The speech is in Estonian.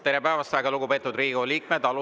Tere päevast, väga lugupeetud Riigikogu liikmed!